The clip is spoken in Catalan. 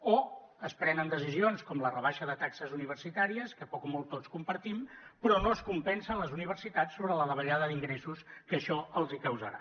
o es prenen decisions com la rebaixa de taxes universitàries que poc o molt tots compartim però no es compensa les universitats sobre la davallada d’ingressos que això els causarà